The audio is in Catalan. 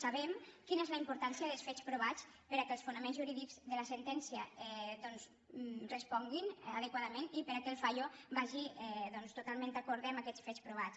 sabem quina és la importància dels fets provats perquè els fonaments jurídics de la sentèn·cia responguin adequadament i perquè el fallo vagi doncs totalment d’acord amb aquests fets provats